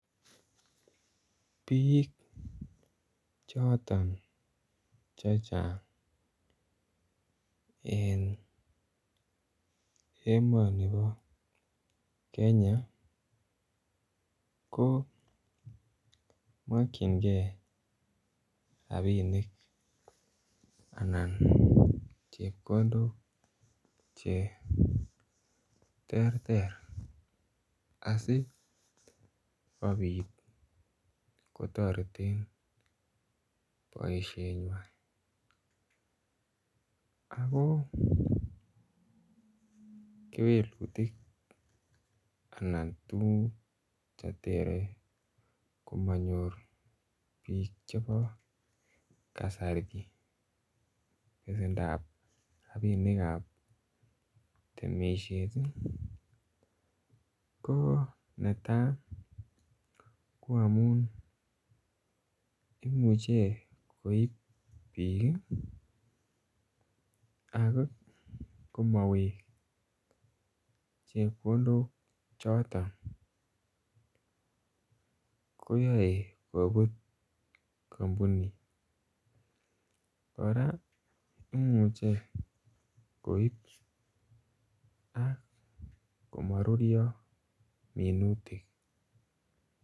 Bik choton che chang en emoni bo Kenya ko mokyingei rabinik anan chepkondok Che terter asi kobit kotoreten boisienywa ago kewelutik anan tuguk Che yaei komonyor bik chebo kasari besendap rabinik ab temisiet ko netai ko amun koib bik Ak komowek chepkondok choton koyoe kobut kampunit kora imuche koib ak komaruryo minutik